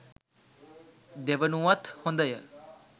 දෙවනුවත් හොඳය.